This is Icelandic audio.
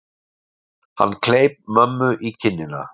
Hann kleip mömmu í kinnina.